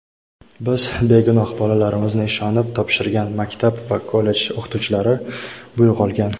biz begunoh bolalarimizni ishonib topshirgan maktab va kollej o‘qituvchilaridan buyruq olgan.